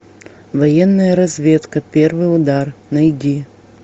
военная разведка первый удар найди